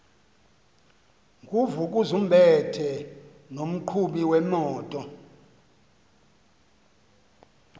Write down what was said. nguvukuzumbethe nomqhubi wemoto